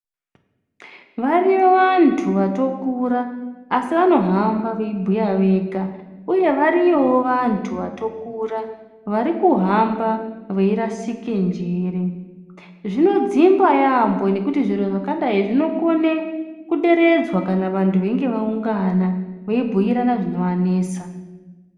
Variyo vantu vatokura asi vanohamba veibhuya vega uye variyowo vantu vatokura varikuhamba veirasike njere zvinodzimba yaambo nekuti zviro zvakadayi zvinokone kuderedzwa kana vantu veinge vaungana veibhuyirana zvinovanesa .